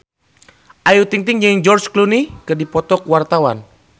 Ayu Ting-ting jeung George Clooney keur dipoto ku wartawan